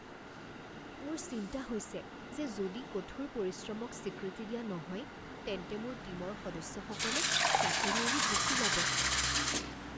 মোৰ চিন্তা হৈছে যে যদি কঠোৰ পৰিশ্ৰমক স্বীকৃতি দিয়া নহয় তেন্তে মোৰ টীমৰ সদস্যসকলে চাকৰি এৰি গুচি যাব।